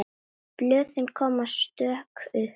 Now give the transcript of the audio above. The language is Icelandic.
Blöðin koma stök upp.